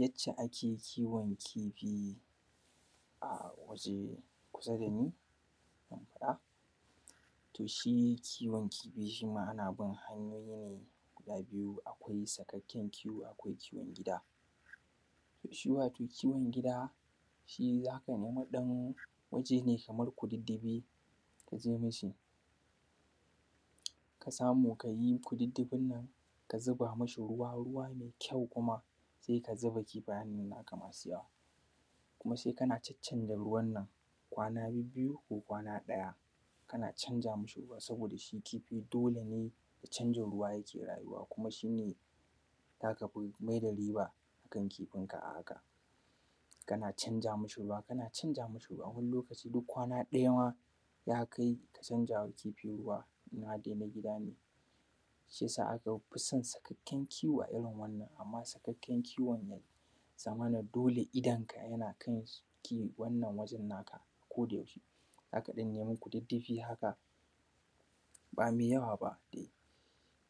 Yacce ake kiwon kifi a waje kusa da ni, to shi kiwon kifi, shi ma ana bin hanyoyi ne guda biyu, akwai sakakken kiwo, akwai kiwon gida. To shi wato kiwon gida shi za ka nemi ɗan waje ne kamar kudiddifi, ku je mishi ka samu ka yi kudiddifin nan, ka zuba mashi ruwa, ruwa mai kyau, kuma sai ka zuba kifayen naka masu yawa, kuma kana caccanza ruwan nan, kwana bibbiyu ko kwana ɗaya. Kana zcanza masa ruwa, saboda shi kifi dole ne da canza ruwa yake rayuwa. Kuma shi ne za ka fi mai da riba a kan kifin ka a haka.. Kana canza mashi ruwa, kana canza mashi ruwa, wani lokaci duk kwana ɗaya ma ya kai ka canza wa kifi ruwa in har dai na gida ne, Kana canza mashi ruwa, kana canza mashi ruwa, wani lokaci duk kwana ɗaya ma ya kai ka canza wa kifi ruwa in har dai na gida ne, za ka ɗan nemi kudiddifi haka ba mai yawa ba dai,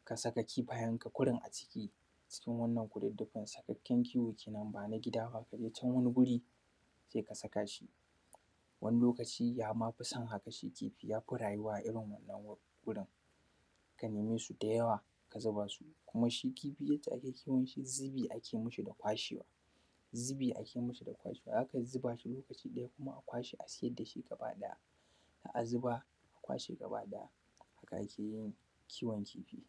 ka saka kifayen ka kurun a ciki cikin wannan kudiddifi. Sakakken kiwao kenan, ba na gida ba. Ka je can wani wuri ka saka shi, wani lokaci ya ma fi san haka ma kifi, rayuwa a irin wannan wurin. Ka neme shi da yawa ka zuba su. Kuma shi kifi yadda ake kiwon shi, zubi ake mashi da kwashewa, zubi ake mashi da kwashewa za ka zuba shi lokaci ɗaya, kuma a kwashe a sayar da shi gaba ɗaya., Za a zuba akwashe gaba ɗaya. Haka ake yin kiwon kifi.